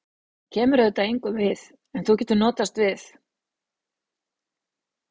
Það kemur auðvitað engum við, en þú getur notast við